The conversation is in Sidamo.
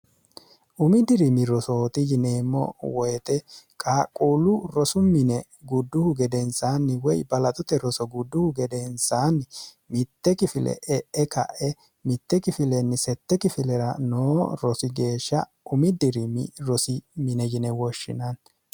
umi diriimi rosooti yineemmo woyite qaaqquullu rosu mine gudduhu gedensaanni woy balaxote roso gudduhu gedensaanni mitte kifile e'e ka'e mitte kifilenni sette kifilera noo rosi geeshsha umi diriimi rosi mine yine woshshinanni